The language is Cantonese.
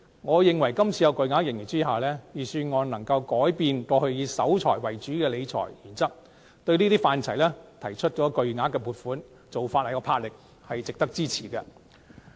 我認為在今次巨額盈餘下，預算案可以改變過去以守財為主的理財原則，向有關範疇作出巨額撥款，做法有魄力，值得支持。